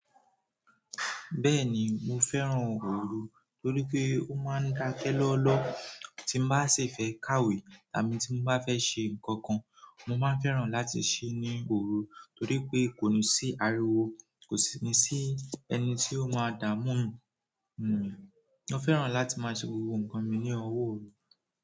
Bẹ́ẹ̀ni mo fẹ́ràn oru toripe o maa n dakẹ lọọlọọ tí n bá ṣi fẹ́ kàwé tàbí tí mo bá fẹ́ ṣe nǹkan kan, mo máa ń fẹ́ràn láti ṣí ní oru torí pé kò ní sí ariwo, kò sí ní sí ẹni tí ó máa dààmú mi. Mo fẹ́ràn láti maa se gbogbo nǹkan mi ni ọwọ oru.